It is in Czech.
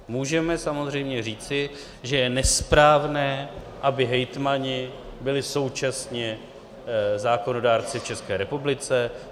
Můžeme samozřejmě říci, že je nesprávné, aby hejtmani byli současně zákonodárci v České republice.